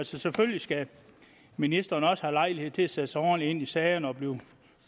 selvfølgelig skal ministeren også have lejlighed til at sætte sig ordentligt ind i sagerne og blive